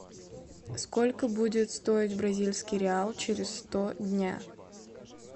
сколько будет стоить бразильский реал через сто дня